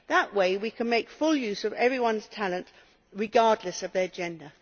That way we can make full use of everyone's talent, regardless of their gender.